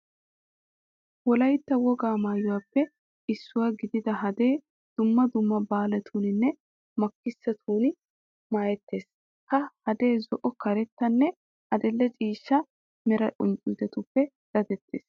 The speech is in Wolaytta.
Wolaytta wogaa maayuwappe issuwa gidida hadee dumma dumma baalatuuninne makkisotun maayettees. Ha hadee zo"o, karettanne adil"e ciishsha mera qunccuutetuppe dadettees.